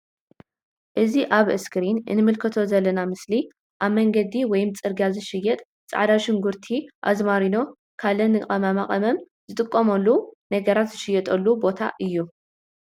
እዚ ኣብ ኣስክሪን እንምልከቶ ዘለና ምስሊ ኣብ መንገዲ ወይም ጽርግያ ዝሽየጥ ጻዕዳ ሽጉርቲ ኣዝማሪኖ ካለ ንቅመማ ቅመም ዝጠቅሙ ነገራት ዝሽየጠሉ ቦታ እዩ።